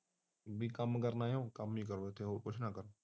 ਉਹੀ ਕੰਮ ਕਰਨਾ ਐ ਤਾਂ ਹੋਰ ਕੁਛ ਨਾ ਕਰ